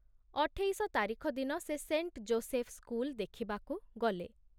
ଅଠେଇଶ ତାରିଖ ଦିନ ସେ ସେଣ୍ଟ ଜୋସେଫ ସ୍କୁଲ ଦେଖିବାକୁ ଗଲେ।